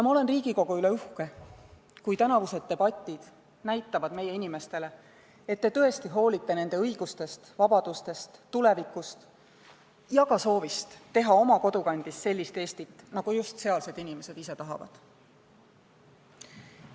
Ma olen Riigikogu üle uhke, kui tänavused debatid näitavad meie inimestele, et te tõesti hoolite nende õigustest, vabadustest, tulevikust ja ka soovist teha oma kodukandis sellist Eestit, nagu just sealsed inimesed ise tahavad.